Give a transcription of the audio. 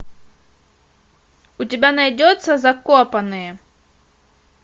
у тебя найдется закопанные